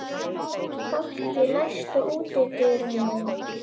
Fálki, læstu útidyrunum.